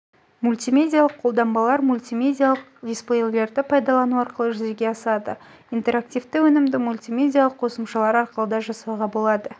мультимедиалық қолданбалар мультимедиалық дисплейлерді пайдалану арқылы жүзеге асады интереактивті өнімді мультимедиалық қосымшалар арқылы да жасауға болады